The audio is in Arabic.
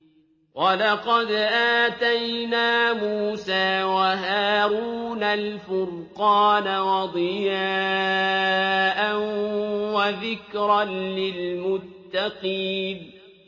وَلَقَدْ آتَيْنَا مُوسَىٰ وَهَارُونَ الْفُرْقَانَ وَضِيَاءً وَذِكْرًا لِّلْمُتَّقِينَ